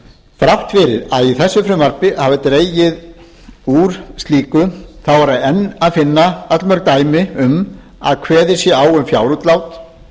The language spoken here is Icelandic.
þrátt fyrir að í þessu frumvarpi hafi dregið úr slíku þá er enn að finna allmörg dæmi um að kveðið sé á um fjárútlát